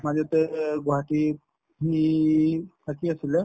মাজতে গুৱাহাটীত সি থাকি আছিলে